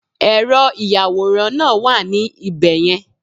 Ẹ̀rọ ìyàwòrán náà wà ní ibẹ̀ yẹn